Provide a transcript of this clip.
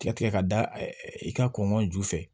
Tigɛ tigɛ ka da i ka kɔnɔn ju fɛ